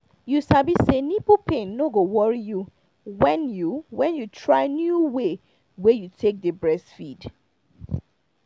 you sabi say nipple pain no go worry you when you when you try new way wey you take dey breastfeed